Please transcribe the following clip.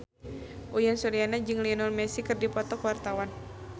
Uyan Suryana jeung Lionel Messi keur dipoto ku wartawan